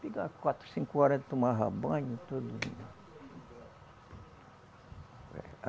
Chegava quatro, cinco horas tomava banho, todo (estalo com os dedos)